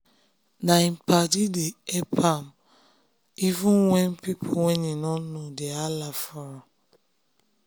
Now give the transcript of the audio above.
na im padi dem help am wen even pipo wey im nor know dey hala for am